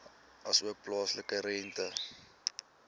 asook plaaslike rente